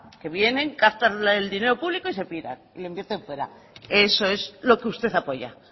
que vienen captan el dinero público y se piran e invierten fuera eso es lo que usted apoya